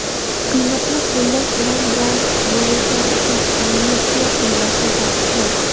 qiynoqni qo‘llash bilan bog‘liq jinoyatlar uchun amnistiya qo‘llashni taqiqlash;.